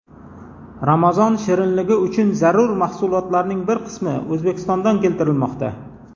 Ramazon shirinligi uchun zarur mahsulotlarning bir qismi O‘zbekistondan keltirilmoqda.